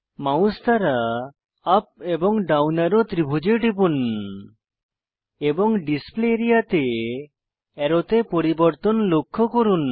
mouse দ্বারা up এবং down arrow ত্রিভুজে টিপুন এবং ডিসপ্লে আরিয়া তে অ্যারোতে পরিবর্তন লক্ষ্য করুন